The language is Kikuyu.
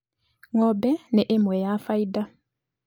Ng'ombe nĩ ĩmwe ya faida